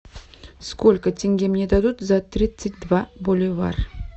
сколько тенге мне дадут за тридцать два боливара